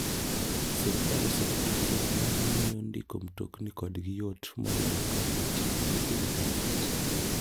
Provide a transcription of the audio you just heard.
Sirkal oseketo chenro mamiyyo ndiko mtokni kodgi yot moloyo ka otii gi intanet.